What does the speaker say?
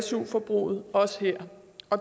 su forbruget også her